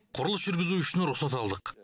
құрылыс жүргізу үшін рұқсат алдық